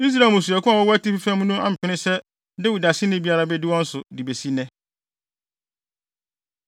Israel mmusuakuw a wɔwɔ atifi fam no ampene sɛ Dawid aseni biara bedi wɔn so, de besi nnɛ.